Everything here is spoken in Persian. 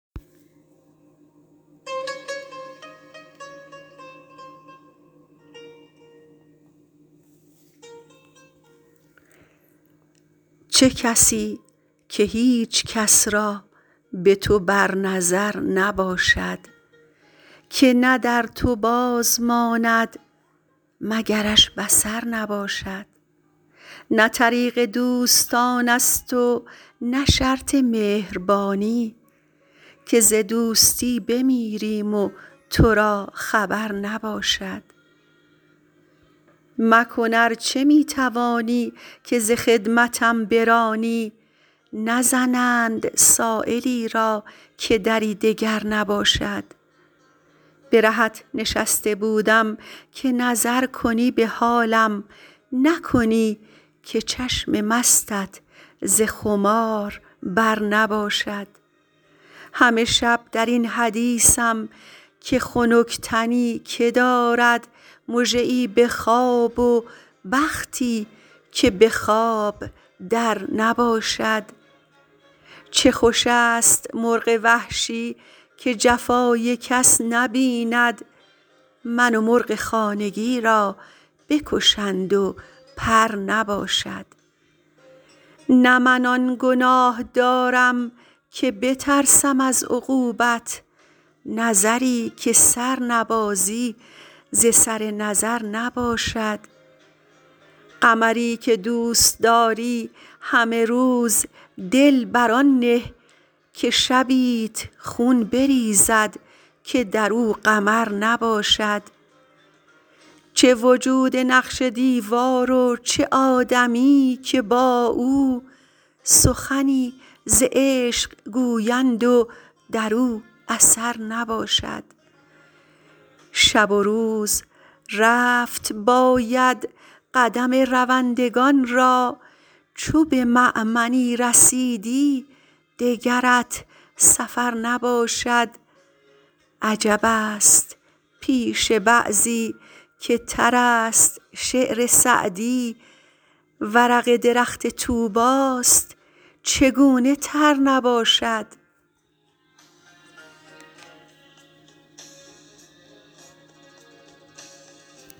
چه کسی که هیچ کس را به تو بر نظر نباشد که نه در تو باز ماند مگرش بصر نباشد نه طریق دوستان است و نه شرط مهربانی که ز دوستی بمیریم و تو را خبر نباشد مکن ار چه می توانی که ز خدمتم برانی نزنند سایلی را که دری دگر نباشد به رهت نشسته بودم که نظر کنی به حالم نکنی که چشم مستت ز خمار بر نباشد همه شب در این حدیثم که خنک تنی که دارد مژه ای به خواب و بختی که به خواب در نباشد چه خوش است مرغ وحشی که جفای کس نبیند من و مرغ خانگی را بکشند و پر نباشد نه من آن گناه دارم که بترسم از عقوبت نظری که سر نبازی ز سر نظر نباشد قمری که دوست داری همه روز دل بر آن نه که شبیت خون بریزد که در او قمر نباشد چه وجود نقش دیوار و چه آدمی که با او سخنی ز عشق گویند و در او اثر نباشد شب و روز رفت باید قدم روندگان را چو به مأمنی رسیدی دگرت سفر نباشد عجب است پیش بعضی که تر است شعر سعدی ورق درخت طوبی ست چگونه تر نباشد